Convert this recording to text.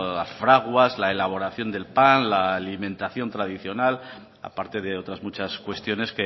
las fraguas la elaboración del pan la alimentación tradicional aparte de otras muchas cuestiones